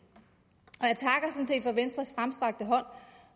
for venstres fremstrakte hånd